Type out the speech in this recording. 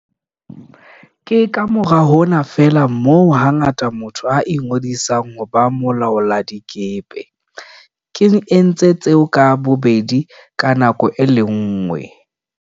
Ke kamora hona feela moo hangata motho a ingodisang ho ba molaoladikepe. Ke entse tseo ka bobedi ka nako e le nngwe.